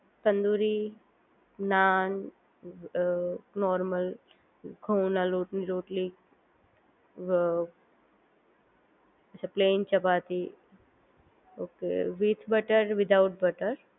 tandoori naan a normal ઘઉંના લોટની રોટલી a plain chapati okay with butter without butter